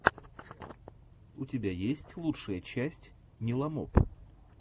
у тебя есть лучшая часть ниламоп